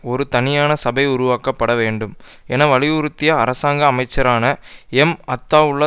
ஒரு தனியான சபை உருவாக்கப்பட வேண்டும் என வலியுறுத்திய அரசாங்க அமைச்சரான எம் அத்தாவுல்லா